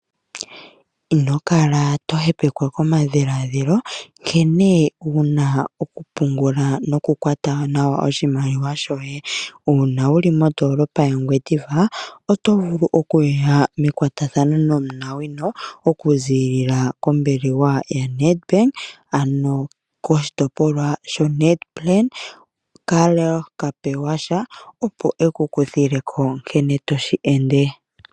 Ino kala to hepekwa komadhiladhilo nkene wuna okupungula nokukwata nawa oshimaliwa shoye uuna wuli mondoolopa yaNgwediva oto vulu okuya mekwatathano nomunawino okuziilila kombaanga yoNedbank koshitopolwa shonet plan Karl Kapewasha, opo ye ekukuthileko nkene yoshi ende.